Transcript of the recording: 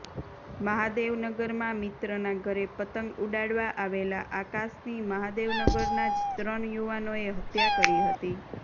મહાદેવનગરમાં મિત્રનાં ઘરે પતંગ ઉડાડવા આવેલા આકાશની મહાદેવનગરનાં જ ત્રણ યુવાનોએ હત્યા કરી હતી